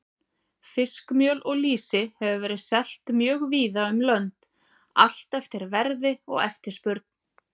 Fiskmjöl og lýsi hefur verið selt mjög víða um lönd, allt eftir verði og eftirspurn.